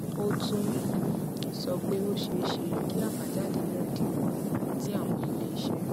ó tún um sọ pé ó ṣeé ṣe kí àbájáde náà dín kù tí àwọn ilé iṣẹ